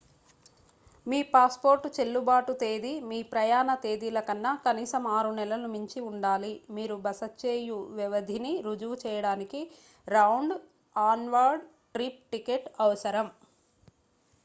మీ passport చెల్లుబాటు తేదీ మీ ప్రయాణ తేదీలకన్నా కనీసం 6 నెలలు మించి ఉండాలి. మీరు బస చేయు వ్యవధిని రుజువు చేయడానికి రౌండ్/ఆన్‌వార్డ్ ట్రిప్ టికెట్ అవసరం